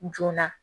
Joona